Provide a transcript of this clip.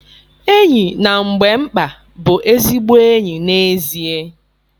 Enyi na mgbe mkpa bụ ezigbo enyi n'ezie.